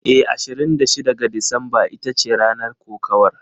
Eh, Ashirin da shida ga Disamba ita ce ranar kokawar.